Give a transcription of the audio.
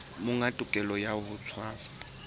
monga tokelo ya ho tshwasa